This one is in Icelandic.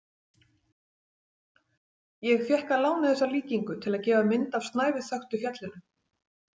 Ég fékk að láni þessa líkingu til að gefa mynd af snæviþöktu fjallinu.